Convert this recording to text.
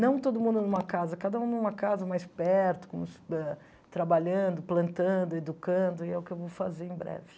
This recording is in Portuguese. Não todo mundo numa casa, cada um numa casa mais perto, com ah trabalhando, plantando, educando, e é o que eu vou fazer em breve.